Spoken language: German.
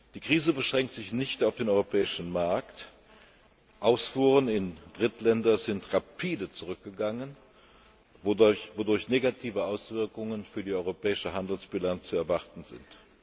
Die Krise beschränkt sich nicht auf den europäischen Markt, Ausfuhren in Drittländer sind rapide zurückgegangen, wodurch negative Auswirkungen für die europäische Handelsbilanz zu erwarten sind.